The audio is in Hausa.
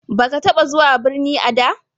Baka taba zuwa birni a da?